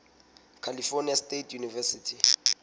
california state university